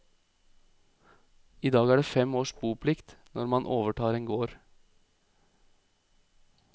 I dag er det fem års boplikt når man overtar en gård.